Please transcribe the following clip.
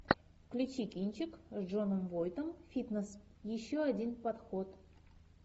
включи кинчик с джоном войтом фитнес еще один подход